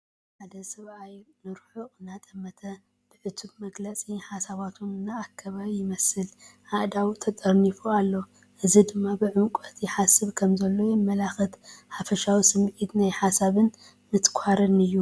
ሓደ ሰብኣይ ንርሑቕ እናጠመተ፡ ብዕቱብ መግለጺ፡ ሓሳባቱ እናኣከበ ይመስል። ኣእዳዉ ተጠርኒፉ ኣሎ፡ እዚ ድማ ብዕምቆት ይሓስብ ከምዘሎ የመልክት። ሓፈሻዊ ስሚዒት ናይ ሓሳብን ምትኳርን እዩ።